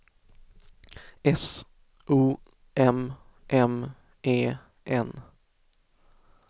S O M M E N